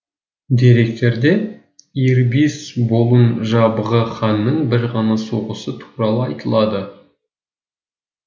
деректерде ирбис болун жабғы ханның бір ғана соғысы туралы айтылады